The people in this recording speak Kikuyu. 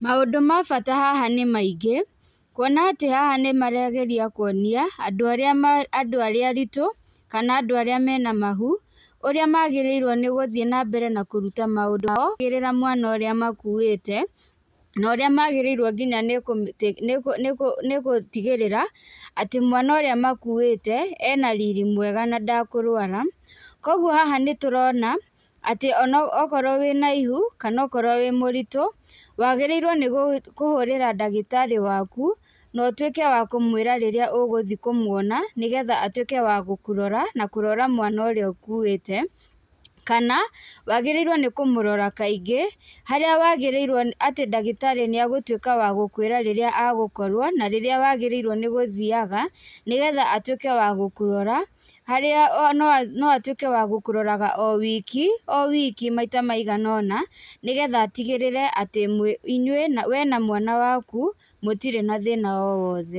Maũndũ ma bata haha nĩ maingĩ, kwona atĩ haha nĩmarageria kwona andũ arĩa aritu kana andũ aria mena mahu ũrĩa magĩrĩirwe gũthii na mbere na kũruta maũndũ mothe makĩrĩa mamwana ũrĩa makuĩte norĩa magĩrĩirwe nginya gũtigĩrĩra mwana ũrĩa makuĩte ena riri mwega na ndekũrũara kwoguo haha nĩtũrona atĩ ona wokorwo wĩna ihu kana wokorwo wĩ mũritũ wagĩrĩirwe nĩ kũhũrĩra ndagĩtarĩ waku na ũtũĩke wa kũmwĩra rĩrĩa ũgũthii kũmwona atuĩke wa gũkũrora na kũrora mwana ũrĩa ũkũĩte kana wagĩrĩirwe nĩ kũmũrora kaingĩ harĩa wagĩrĩirwe atĩ ndagĩtarĩ nĩ egũtũĩka wagũkwĩra rĩrĩa egũkorwo na rĩrĩa wagĩrĩirwo nĩ gũthiaga nĩgetha atũĩke wagũkũrora harĩano atũĩke wagũkũroraga owiki owiki maita maiga ona na atigĩrĩre wee na mwana waku mũtire na thĩna owothe.